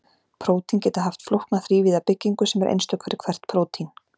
prótín geta haft flókna þrívíða byggingu sem er einstök fyrir hvert prótín